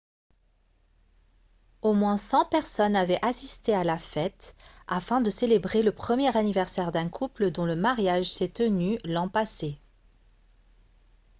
au moins 100 personnes avaient assisté à la fête afin de célébrer le premier anniversaire d'un couple dont le mariage s'est tenu l'an passé